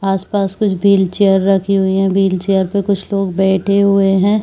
आसपास कुछ व्हीलचेयर रखी हुई है व्हीलचेयर पे कुछ लोग बैठे हुए हैं।